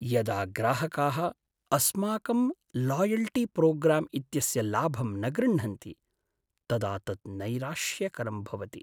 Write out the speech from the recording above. यदा ग्राहकाः अस्माकं लायल्टीप्रोग्राम् इत्यस्य लाभं न गृह्णन्ति तदा तत् नैराश्यकरं भवति।